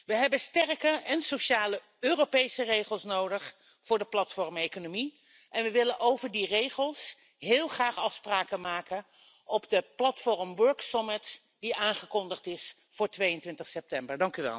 We hebben sterke en sociale Europese regels nodig voor de platformeconomie en we willen over die regels heel graag afspraken maken op de Platform Work Summit die aangekondigd is voor 22 september.